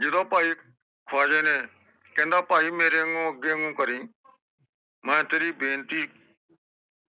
ਜਿਦੋ ਭਾਈ ਖਵਾਜੇ ਨੇ ਕਹਿੰਦਾ ਭਾਈ ਮੇਰੇ ਵਾਂਗੂ ਅਗੇ ਮੂੰਹ ਕਰਿ ਮੈਂ ਤੇਰੀ ਬੇਨਤੀ